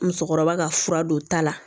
Musokɔrɔba ka fura don ta la